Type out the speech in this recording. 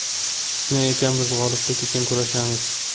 Shunday ekan, biz g‘oliblik uchun kurashamiz.